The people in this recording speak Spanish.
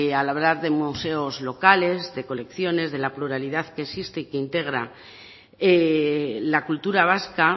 al hablar de museos locales de colecciones de la pluralidad que existe y que integra la cultura vasca